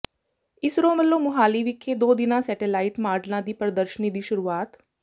ਇਸਰੋ ਵਲੋਂ ਮੁਹਾਲੀ ਵਿਖੇ ਦੋ ਦਿਨਾ ਸੈਟੇਲਾਈਟ ਮਾਡਲਾਂ ਦੀ ਪ੍ਰਦਰਸ਼ਨੀ ਦੀ ਸ਼ੁਰੂਆਤ